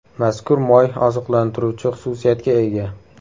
Mazkur moy oziqlantiruvchi xususiyatga ega.